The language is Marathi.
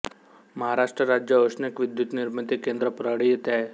महाराष्ट्र राज्य औष्णिक विद्युतनिर्मिती केंद्र परळी येथे आहे